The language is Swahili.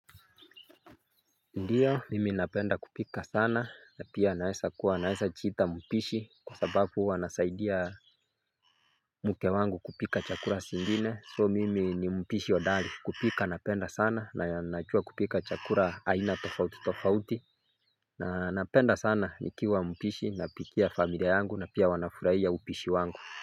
Ndiyo mimi napenda kupika sana na pia naweza kuwa naeza jiita mpishi kwa sababu huwa nasaidia mke wangu kupika chakula zingine so mimi ni mpishi hodari kupika napenda sana na najua kupika chakula aina tofauti tofauti na napenda sana nikiwa mpishi napikia familia yangu na pia wanafurahia upishi wangu.